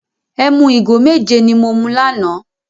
Ẹmu igo méje ni mo mu lánàá.